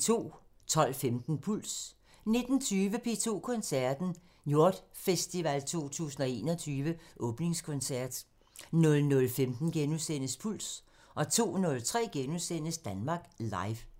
12:15: Puls 19:20: P2 Koncerten – Njord Festival 2021 åbningskoncert 00:15: Puls * 02:03: Danmark Live *